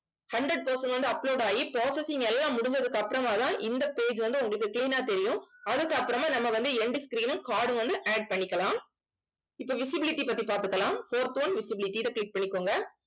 hundred percent வந்து upload ஆகி processing எல்லாம் முடிஞ்சதுக்கு அப்புறமாதான் இந்த page வந்து உங்களுக்கு clean ஆ தெரியும் அப்புறமா நம்ம வந்து end screen உம் card உம் வந்து add பண்ணிக்கலாம் இப்ப visibility பத்தி பாத்துக்கலாம். fourth one visibility இத click பண்ணிக்கோங்க